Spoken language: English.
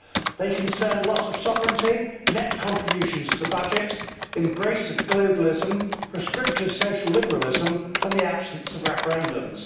They concern loss of sovereignty, net contributions to the budget, embrace of globalism, prescriptive social liberalism and the absence of referendums.